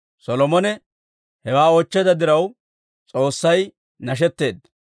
Solomone hewaa oochcheedda diraw, S'oossay nashetteedda.